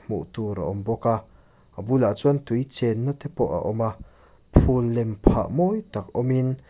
hmuh tur a awm bawk a a bulah chuan tui chenna te pawh a awm a phul lem phah mawi tak awm in.